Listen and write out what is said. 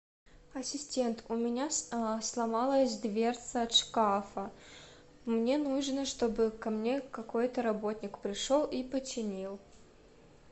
ассистент у меня сломалась дверца от шкафа мне нужно чтобы ко мне какой то работник пришел и починил